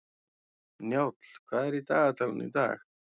Njáll, hvað er í dagatalinu í dag?